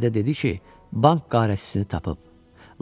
İdarədə dedi ki, bank qarətçisini tapıb,